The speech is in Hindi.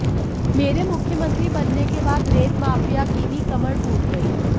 मेरे मुख्यमंत्री बनने के बाद रेत माफिया की भी कमर टूट गई